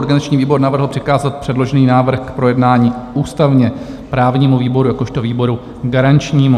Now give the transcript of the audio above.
Organizační výbor navrhl přikázat předložený návrh k projednání ústavně-právnímu výboru jakožto výboru garančnímu.